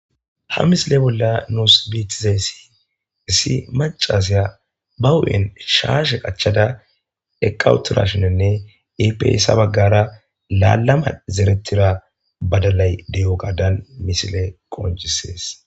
Ha misile bolla nusi beyizays issi macashiya ba huphen shaashe qachada eqa utidashininne ipe guyesa bagara laalama zeretida badalay de'ogadan misiley qoncises.